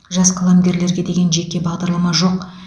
жас қаламгерлерге деген жеке бағдарлама жоқ